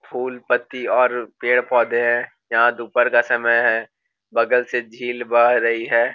फूल पत्ती और पेड़-पौधे है यहाँ दोपहर का समय है बगल से झील बह रही है।